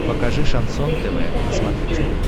покажи шансон тв на смотрешке